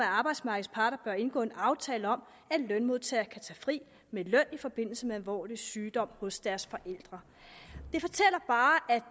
arbejdsmarkedets parter bør indgå en aftale om at lønmodtagere kan tage fri med løn i forbindelse med alvorlig sygdom hos deres forældre